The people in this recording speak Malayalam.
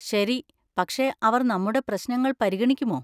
ശരി, പക്ഷേ അവർ നമ്മുടെ പ്രശ്നങ്ങൾ പരിഗണിക്കുമോ?